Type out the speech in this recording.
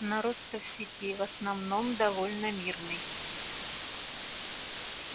народ то в сети в основном довольно мирный